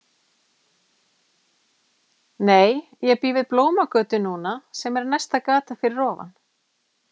Nei, ég bý við Blómagötu núna sem er næsta gata fyrir ofan.